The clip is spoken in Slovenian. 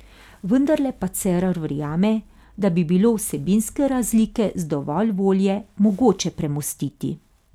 Vendarle pa Cerar verjame, da bi bilo vsebinske razlike z dovolj volje mogoče premostiti.